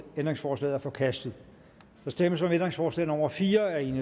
ændringsforslaget er forkastet der stemmes om ændringsforslag nummer fire af et